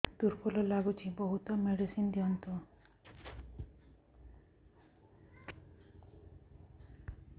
ଦୁର୍ବଳ ଲାଗୁଚି ବହୁତ ମେଡିସିନ ଦିଅନ୍ତୁ